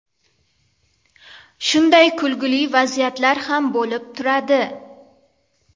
Shunday kulgili vaziyatlar ham bo‘lib turadi.